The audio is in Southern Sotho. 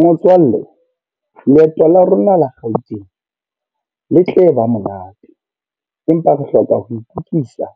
Motswalle, leeto la rona la Gauteng. Le tle ba monate, empa re hloka ho itukisa